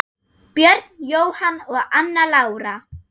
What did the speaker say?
Björn Jóhann og Anna Lára.